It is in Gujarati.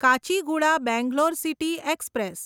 Kacheguda Bangalore city express